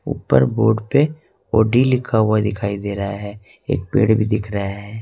ऊपर बोर्ड पे ऑडी लिखा हुआ दिखाई दे रहा है एक पेड़ भी दिख रहा है।